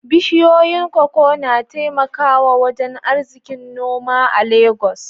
Bishiyoyin koko na taimakawa wajen arzikin noma a Legas.